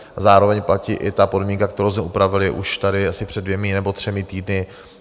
Zároveň platí i ta podmínka, kterou jsme upravili už tady asi před dvěma nebo třemi týdny.